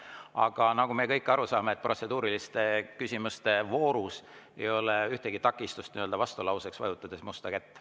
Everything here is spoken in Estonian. Aga nagu me kõik aru saame, protseduuriliste küsimuste voorus ei ole ühtegi takistust vastulauseks, vajutades musta kätt.